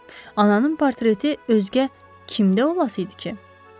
Ananın portreti özgə kimdə olası idi ki?